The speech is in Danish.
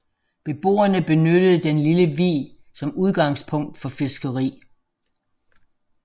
Beboerne benyttede den lille vig som udgangspunkt for fiskeri